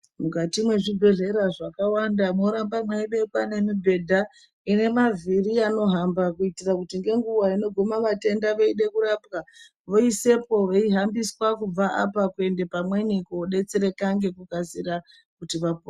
Mukati mezvibhedhlera zvakawanda moramba meibekwa nemibhedha inemavhiri anohamba kuitira kuti ngenguwa inoguma vatenda veide kurapwa voiswepo veihambiswa kubva apa kuende pamweni kodetsereka ngekukasika kuti vapone.